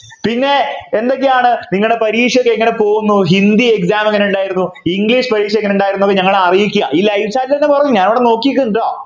പിന്നെ എന്തൊക്കെയാണ് നിങ്ങളുടെ പരീക്ഷ ഒക്കെ എങ്ങനെ പോകുന്നു ഹിന്ദി exam എങ്ങനെയുണ്ടായിരുന്നു english പരീക്ഷ എങ്ങനെ ഉണ്ടായിരുന്നു ഞങ്ങളൊക്കെ അറിയിക്യാ ഈ Live chat എന്നെ പറയും ഞാനിവിടെ നിക്കുന്നുണ്ട് ട്ടോ